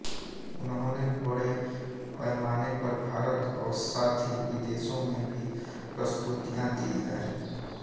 उन्होंने बड़े पैमाने पर भारत और साथ ही विदेशों में भी प्रस्तुतियां दी हैं